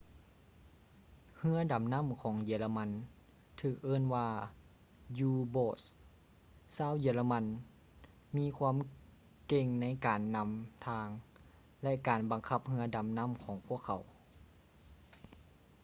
ເຮືອດໍານໍ້າຂອງເຢຍລະມັນຖືກເອີ້ນວ່າ u-boats ຊາວເຢຍລະມັນມີຄວາມເກັ່ງໃນການນຳທາງ ແລະ ການບັງຄັບເຮືອດໍານໍ້າຂອງພວກເຂົາ